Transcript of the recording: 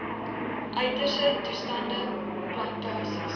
uiterste toestande plantasies